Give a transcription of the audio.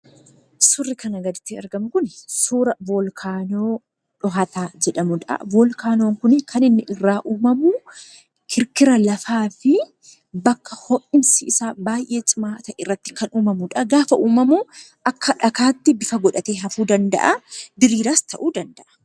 Suurri kanaa gaditti argamu kun suura volkaanoo dhohataa jedhamuudha. Voolkaanoon kun kan inni irraa uumamu kirikira lafaa fi bakka ho'iinsi isaa baay'ee cimaa ta'e irratti kan uumamuudha. Gaafa uumamu akka dhagaatti bifa godhatee hafuu danda'a. Diriiraas ta'uu danda'a.